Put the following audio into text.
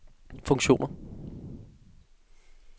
funktioner